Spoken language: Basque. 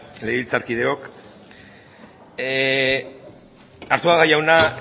legebiltzarkideok arzuaga jauna